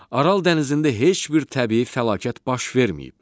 Aral dənizində heç bir təbii fəlakət baş verməyib.